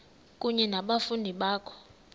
kunye nabafundi bakho